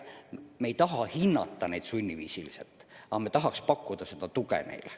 Me ei taha lapsi sunniviisiliselt hinnata, me tahame neile tuge pakkuda.